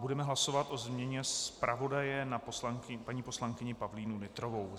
Budeme hlasovat o změně zpravodaje na paní poslankyni Pavlínu Nytrovou.